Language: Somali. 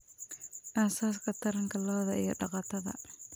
Aasaaska Taranka Lo'da iyo daqatada.